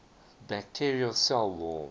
bacterial cell wall